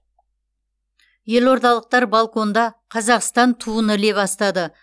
елордалықтар балконда қазақстан туын іле бастады